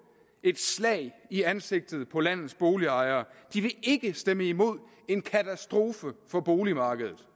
et slag i ansigtet på landets boligejere de vil ikke stemme imod en katastrofe for boligmarkedet